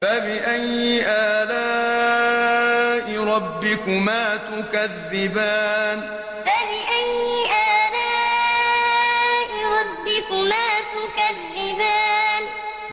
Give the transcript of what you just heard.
فَبِأَيِّ آلَاءِ رَبِّكُمَا تُكَذِّبَانِ فَبِأَيِّ آلَاءِ رَبِّكُمَا تُكَذِّبَانِ